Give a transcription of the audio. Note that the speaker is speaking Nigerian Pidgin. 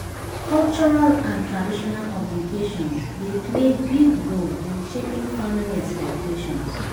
Cultural and traditional obligations dey play big role in shaping family expectations.